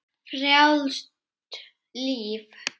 Frjálst líf.